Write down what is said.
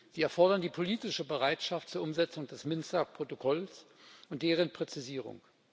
Sie erfordern die politische Bereitschaft zur Umsetzung des Minsker Protokolls und deren Präzisierung.